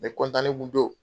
Ne kun don